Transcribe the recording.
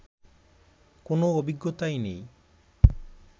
কোনো অভিজ্ঞতাই নেই